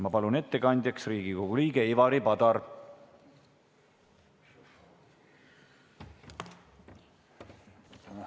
Ma palun ettekandjaks Riigikogu liikme Ivari Padari!